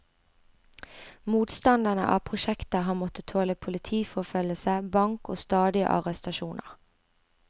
Motstanderne av prosjektet har måttet tåle politiforfølgelse, bank og stadige arestasjoner.